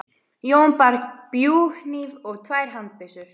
Jón bar bjúghníf og tvær handbyssur.